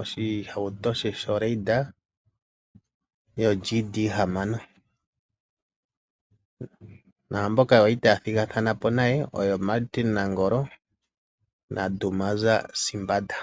oshitukutuku she shoGD hamano (6) RB Raider. Okwa li taya thigathana po naMartin Nangolo, osho wo Dumaza Simbanda.